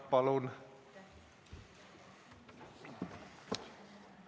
Palun!